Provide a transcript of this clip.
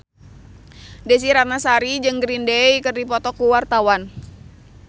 Desy Ratnasari jeung Green Day keur dipoto ku wartawan